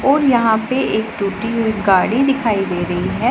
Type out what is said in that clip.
और यहां पे एक टूटी हुई गाड़ी दिखाई दे रही है।